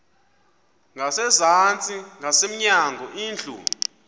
ngasezantsi ngasemnyango indlu